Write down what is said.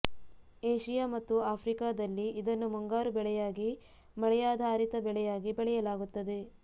Asia ಮತ್ತು ಆಫ್ರಿಕಾದಲ್ಲಿ ಇದನ್ನು ಮುಂಗಾರು ಬೆಳೆಯಾಗಿ ಮಳೆಯಾಧಾರಿತ ಬೆಳೆಯಾಗಿ ಬೆಳೆಯಲಾಗುತ್ತದೆ